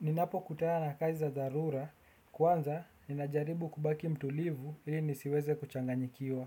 Ninapokutana na kazi za dharura, kwanza ninajaribu kubaki mtulivu ili nisiweze kuchanganyikiwa.